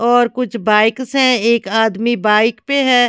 और कुछ बाइक्स हैं एक आदमी बाइक पे है।